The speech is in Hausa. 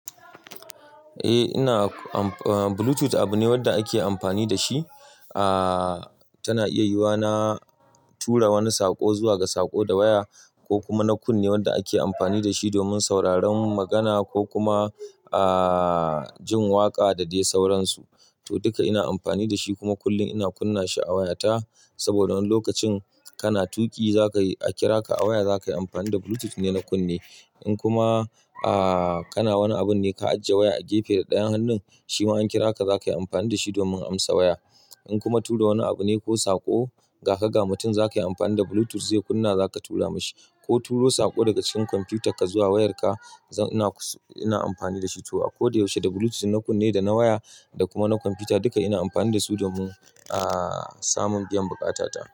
Eh, ina am am bluetooth abu ne wanda ake amfani da shi. Tana iya yiwa na tura wani saƙo zuwa ga saƙo da waya ko kuma na kunne wanda ake amfani da shi domin sauraron magana ko kuma jin waƙa da dai sauransu. To, duka ina amfani da shi kuma kullum ina kunna shi a wayata. Saboda wani lokacin kana tuƙi za ka kira ka a waya, za ka yi amfani da bluetooth ne na kunne. Inkuma aah kana wani abunne ka ajiye waya a gefe dayan hannun shima in ankira ka zaka iya amfani da shi domin amsa waya in kuma tura wani abu ne ko saƙo ga ka, ga mutum za ka yi amfani da bluetooth zai kunna za ka tura mashi ko turo saƙo daga cikin kwamfutan ka zuwa wayarka. Zan-- ina amfani da shi to a kodayaushe da bluetooth na kunne da na waya da kuma na kwamfuta duka ina amfani da su domin samun biyan buƙatata.